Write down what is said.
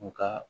U ka